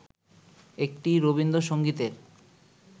একটি রবীন্দ্রসংগীতের